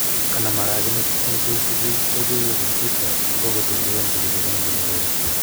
Kanam aragenet en cheisiben logoiwek en Twitter angotil Beyonce kole panandos icheget